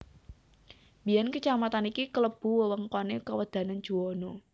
Biyén kacamatan iki kelebu wewengkoné kawedanan Juwana